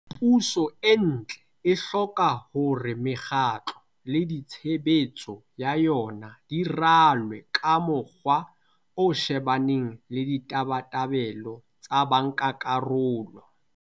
Puso e ntle e hloka hore mekgatlo le ditshebetso ya yona di ralwe ka mokgwa o shebaneng le ditabatabelo tsa bankakarolo.